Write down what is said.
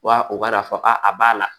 Wa u b'a dɔn a b'a la